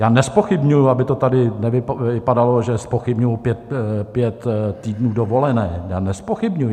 Já nezpochybňuji, aby to tady nevypadalo, že zpochybňuji pět týdnů dovolené, já nezpochybňuji.